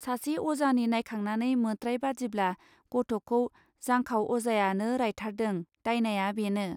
सासे अजानि नायखांनानै मोत्राय बादिब्ला ग'थखौ जांखाव अजायानो रायथारदों दायनाया बेनो.